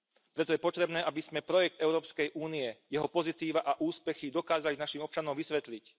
Preto je potrebné, aby sme projekt Európskej únie, jeho pozitíva a úspechy dokázali našim občanom vysvetliť.